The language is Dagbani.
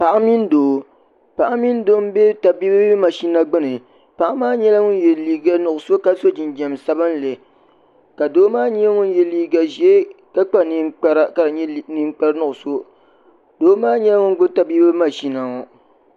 paɣa mini doo n bɛ tabiibi mashina gbuni paɣa maa nyɛla ŋun yɛ liiga nuɣso ka so jinjɛm sabinli ka doo maa nyɛ ŋun yɛ liiga ʒiɛ ka kpa ninkpara ka di nyɛ ninkpari nuɣso Doo maa n nyɛ ŋun gbubi tabiibu mashina ŋo